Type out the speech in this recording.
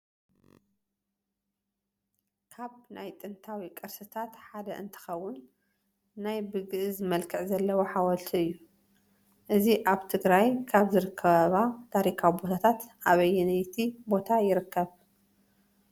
ካብ ናይ ጥንታዊ ቅርስታት ሓደ እንትኸውን ናይ በ ግእዝ መልክዕ ዘለዎ ሓወልቲ እዩ፡፡ እዚ ኣብ ትግራይ ካብ ዝርከባ ታሪካዊ ቦታታት ኣበየነይቲ ቦታ ይርከብ፡፡